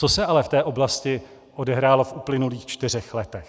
Co se ale v té oblasti odehrálo v uplynulých čtyřech letech?